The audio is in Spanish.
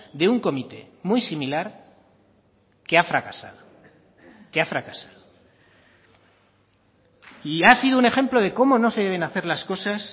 de un comité muy similar que ha fracasado que ha fracasado y ha sido un ejemplo de cómo no se deben hacer las cosas